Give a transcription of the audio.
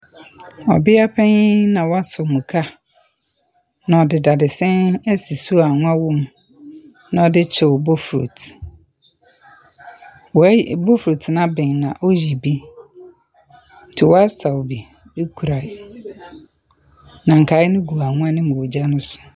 Ɔbea panyin na wasɔ muka, na ɔde dadesɛn asi so a anwa wɔ mu, na ɔde kyew bofrot. Wayi bofrot no aben na ɔreyi bi, nti wasaw bi akura, na nkae no gu anwa no mu wɔ gya no so.